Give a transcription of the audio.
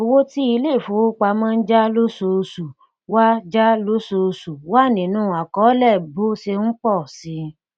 owó tí ilé ìfowópamọ n já lóṣooṣù wà já lóṣooṣù wà nínú akọólẹ bó ṣe n pọ si